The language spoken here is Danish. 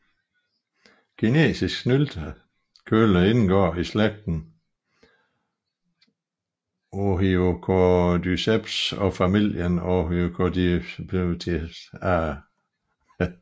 Kinesisk snyltekølle indgår i slægten Ophiocordyceps og familien Ophiocordycipitaceae